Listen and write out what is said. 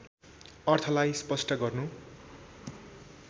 अर्थलाई स्पष्ट गर्नु